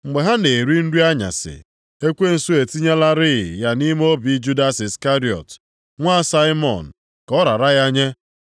Mgbe a na-eri nri anyasị, ekwensu etinyelarị ya nʼime obi Judas Iskarịọt, nwa Saimọn ka ọ rara ya nye.